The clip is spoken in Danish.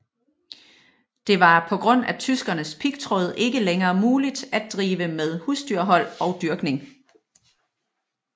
Det var på grund af tyskernes pigtråd ikke længere muligt at drive med husdyrhold og dyrkning